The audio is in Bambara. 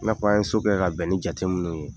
I n'a fɔ an ye so kɛ ka bɛn ni jate minnu ye.